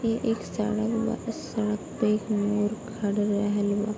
इ एक सड़क बा | सड़क पे एक मोर खड़ा रहल बा |